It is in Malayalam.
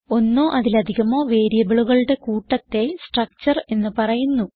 ഒന്നോ അതിലധികമോ വേരിയബിളുകളുടെ കൂട്ടത്തെ സ്ട്രക്ചർ എന്ന് പറയുന്നു